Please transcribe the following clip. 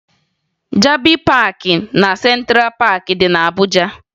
Jabi Paakị na Sentra Paakị dị na Abuja